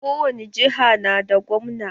Kowani jiha na da gwamna.